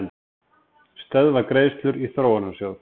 Stöðva greiðslur í Þróunarsjóð